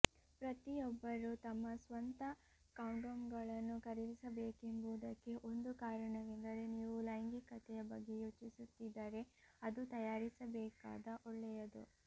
ಪ್ರತಿಯೊಬ್ಬರೂ ತಮ್ಮ ಸ್ವಂತ ಕಾಂಡೋಮ್ಗಳನ್ನು ಖರೀದಿಸಬೇಕೆಂಬುದಕ್ಕೆ ಒಂದು ಕಾರಣವೆಂದರೆ ನೀವು ಲೈಂಗಿಕತೆಯ ಬಗ್ಗೆ ಯೋಚಿಸುತ್ತಿದ್ದರೆ ಅದು ತಯಾರಿಸಬೇಕಾದ ಒಳ್ಳೆಯದು